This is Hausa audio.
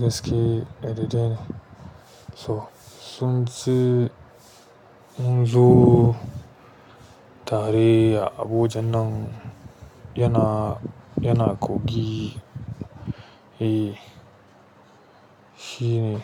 gaske a dadeɗe ne. So sun ci munzo tare a abojan nan yana, yana kogi, eh shi ne.